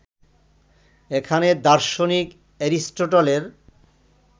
এখানে দার্শনিক এরিস্টটলের